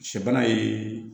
Sɛ bana ye